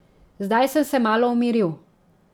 Zdaj sem se malo umiril.